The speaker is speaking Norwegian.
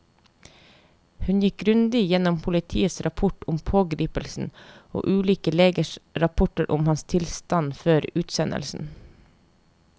Hun gikk grundig gjennom politiets rapport om pågripelsen og ulike legers rapporter om hans tilstand før utsendelsen.